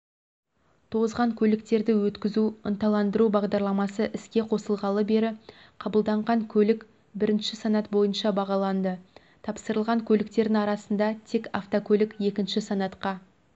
тозған көліктерді өткізуді ынталандыру бағдарламасы іске қосылғалы бері қабылданған көлік бірінші санат бойынша бағаланды тапсырылған көліктердің арасында тек автокөлік екінші санатқа